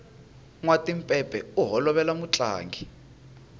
nwa timpepe u holovela mutlangi